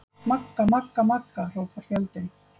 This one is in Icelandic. Magga-magga-magga, hrópar fjöldinn.